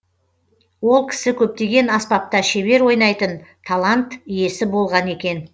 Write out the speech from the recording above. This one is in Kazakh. ол кісі көптеген аспапта шебер ойнайтын талант иесі болған екен